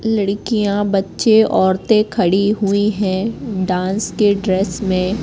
लड़कियां बच्चे औरतें खड़ी हुई है डांस के ड्रेस में--